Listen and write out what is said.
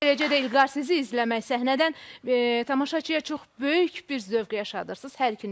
Eləcə də İlqar sizi izləmək səhnədən tamaşaçıya çox böyük bir zövq yaşadırsınız.